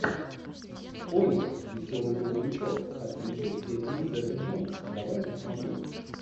олли веселый грузовичок с актрисой кэтрин зета джонс давай я посмотрю